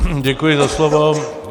Děkuji za slovo.